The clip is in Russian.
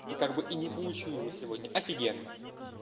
и как бы и не получу его сегодня офигенно